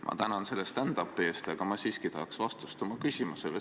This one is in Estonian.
Ma tänan selle stand-up'i eest, aga ma siiski tahaks vastust oma küsimusele.